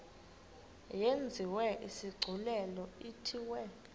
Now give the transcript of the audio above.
yenziwe isigculelo ithiwe